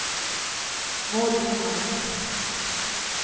Maud Lindmark